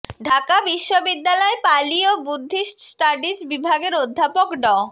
ঢাকা বিশ্ববিদ্যালয় পালি ও Buddhist studies বিভাগের অধ্যাপক ড